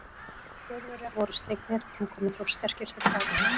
Þjóðverjar voru slegnir, en komu þó sterkir til baka.